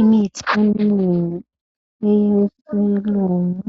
Imithi eminengi yabelungu